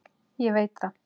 Ég veit það